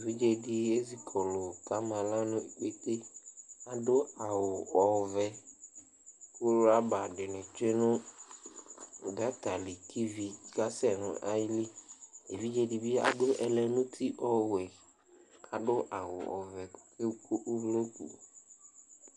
Evidze dɩ ezi kɔlʋ kʋ ama aɣla nʋ ikpete Adʋ awʋ ɔvɛ kʋ rɔba dɩnɩ tsue nʋ gɔta li kʋ ivi kasɛ nʋ ayili Evidze dɩ bɩ adʋ ɛlɛnʋti ɔwɛ kʋ adʋ awʋ ɔvɛ kʋ ɔkewu uvloku